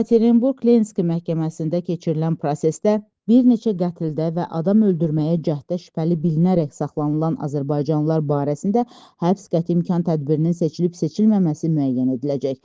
Yekaterinburq Lenski məhkəməsində keçirilən prosesdə bir neçə qətldə və adam öldürməyə cəhddə şübhəli bilinərək saxlanılan azərbaycanlılar barəsində həbs qəti imkan tədbirinin seçilib-seçilməməsi müəyyən ediləcək.